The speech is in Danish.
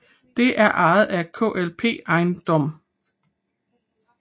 Det er ejet af KLP Eiendom